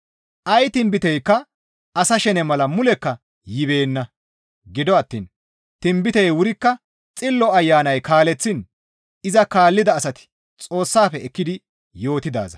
Ay tinbiteykka asa shene mala mulekka yibeenna; gido attiin tinbitey wurikka Xillo Ayanay kaaleththiin iza kaallida asati Xoossafe ekkidi yootidaaza.